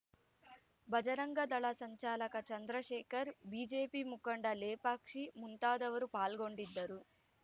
ಭಜರಂಗ ದಳ ಸಂಚಾಲಕ ಚಂದ್ರಶೇಖರ್‌ ಬಿಜೆಪಿ ಮುಖಂಡ ಲೇಪಾಕ್ಷಿ ಮುಂತಾದವರು ಪಾಲ್ಗೊಂಡಿದ್ದರು